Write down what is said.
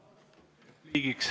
Sõna repliigiks.